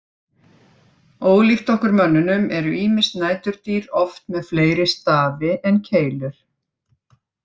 Ólíkt okkur mönnunum eru ýmis næturdýr oft með fleiri stafi en keilur.